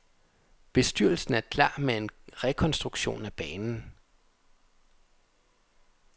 Bestyrelsen er klar med en rekonstruktion af banen.